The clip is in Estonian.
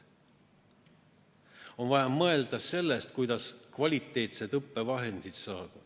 On vaja mõelda sellest, kuidas saada kvaliteetseid õppevahendeid.